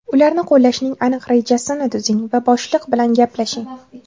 Ularni qo‘llashning aniq rejasini tuzing va boshliq bilan gaplashing.